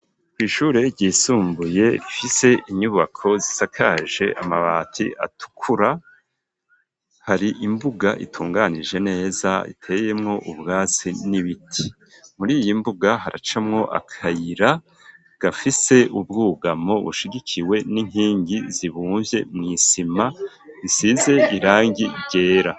kw'ishure ryisumbuye rifise inyubako zisakaje amabati atukura hari imbuga itunganije neza iteyemwo ubwasi n'ibiti muri iyi mbuga haracamwo akayira gafise ubwugamo bushigikiwe n'inkingi zibumvye mw'isima isize irangi ryera.